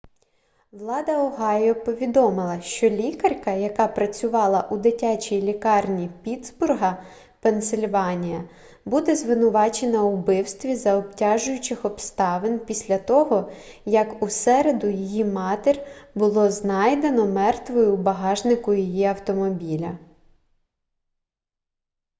влада огайо повідомила що лікарка яка працювала у дитячій лікарні піттсбурга пенсильванія буде звинувачена у вбивстві за обтяжуючих обставин після того як у середу її матір було знайдено мертвою у багажнику її автомобіля